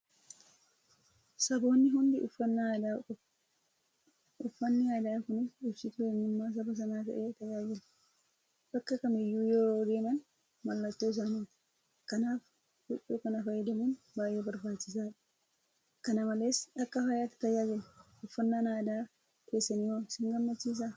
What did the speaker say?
Saboonni hundi uffannaa aadaa qabu. Uffanni aadaa kunis ibsituu eenyummaa saba sanaa ta'ee tajaajila. Bakka kamiyyuu yeroo deeman mallattoo isaaniiti. Kanaaf Huccuu kana fayyadamuun baay'ee barbaachisaadha. kana malees akka faayaatti tajaajila. Uffannaan aadaa keessaniiwoo singammachiisaa?